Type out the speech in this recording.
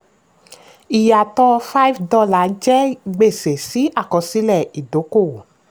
ìyàtò five dollars jẹ́ gbèsè sí àkọsílẹ̀ ìdókòwò.